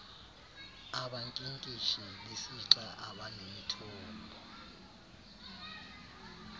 abankinkishi besixa abanemithombo